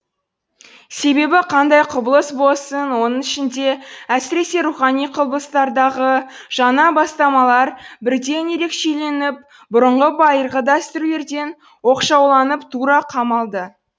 себебі қандай құбылыс болсын оның ішінде әсіресе рухани құбылыстардағы жаңа бастамалар бірден ерекшеленіп бұрынғы байырғы дәстүрлерден оқшауланып тура қамалды